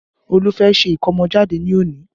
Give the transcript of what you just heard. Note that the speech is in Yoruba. Ọlá fẹ́ ṣe ikomojade ní òní